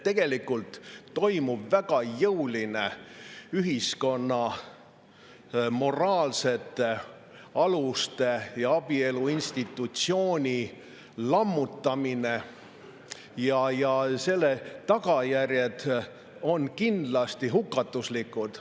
Tegelikult toimub väga jõuline ühiskonna moraalsete aluste ja abielu institutsiooni lammutamine ning selle tagajärjed on kindlasti hukatuslikud.